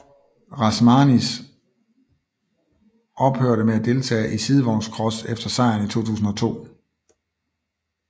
Rasmanis ophørte med at deltage i sidevognscross efter sejren i 2002